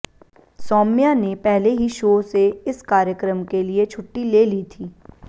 सौम्या ने पहले ही शो से इस कार्यक्रम के लिए छुट्टी ले ली थी